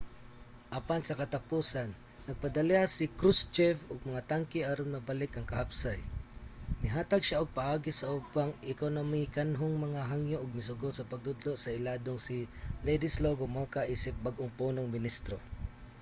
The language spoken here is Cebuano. apan sa katapusan nagpadala si krushchev og mga tangke aron mabalik ang kahapsay mihatag siya og paagi sa ubang ekonomikanhong mga hangyo ug misugot sa pagtudlo sa iladong si wladyslaw gomulka isip bag-ong punong ministro